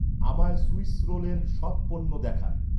আমায় সুইস রোলের সব পণ্য দেখান